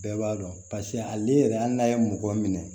Bɛɛ b'a dɔn paseke hali yɛrɛ hali n'a ye mɔgɔ minɛ